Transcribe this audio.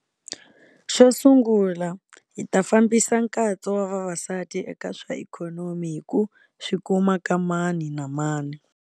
Xo sungula, hi ta fambisa nkatso wa vavasati eka swa ikhonomi hi ku swi kuma ka mani na mani.